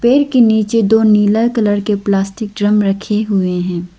पेड़ के नीचे दो नीला कलर के प्लास्टिक ड्रम रखे हुए हैं।